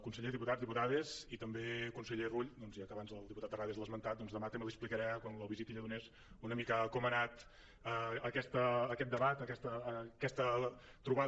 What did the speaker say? conseller diputats diputades i també conseller rull doncs ja que abans el diputat terrades l’ha esmentat doncs demà també li explicaré quan lo visiti a lledoners una mica com ha anat aquest debat aquesta trobada